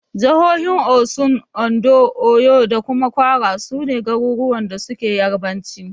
Jahohin Osun, Ondo, Oyo da Kwara, su ne garuruwan da suke Yarabanci.